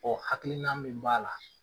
hakilina min b'a la.